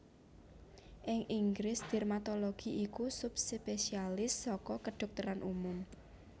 Ing Inggris dermatologi iku subspesialis saka kedhokteran umum